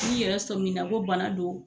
N'i yɛrɛ sɔmi na ko bana do.